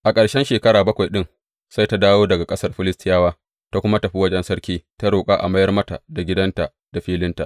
A ƙarshen shekara bakwai ɗin sai ta dawo daga ƙasar Filistiyawa, ta kuma tafi wajen sarki ta roƙa a mayar mata da gidanta da filinta.